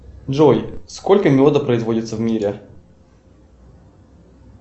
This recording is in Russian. джой сколько меда производится в мире